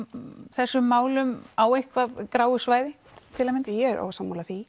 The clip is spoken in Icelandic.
þessum málum á eitthvað gráu svæði ég er ósammála því